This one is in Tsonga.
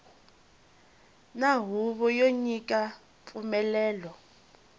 na huvo yo nyika mpfumelelo